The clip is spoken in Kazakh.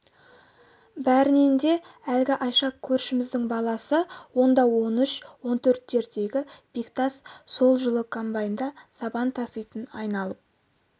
бәрінен де әлгі айша көршіміздің баласы онда он үш он төрттердегі бектас сол жылы комбайнда сабан таситын айналып